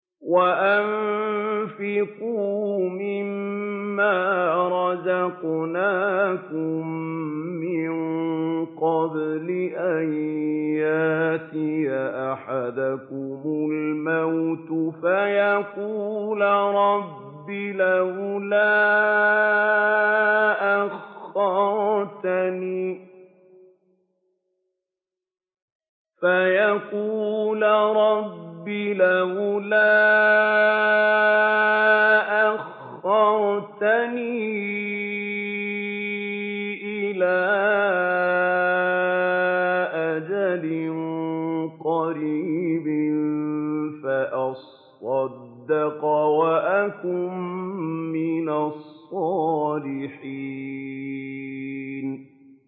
وَأَنفِقُوا مِن مَّا رَزَقْنَاكُم مِّن قَبْلِ أَن يَأْتِيَ أَحَدَكُمُ الْمَوْتُ فَيَقُولَ رَبِّ لَوْلَا أَخَّرْتَنِي إِلَىٰ أَجَلٍ قَرِيبٍ فَأَصَّدَّقَ وَأَكُن مِّنَ الصَّالِحِينَ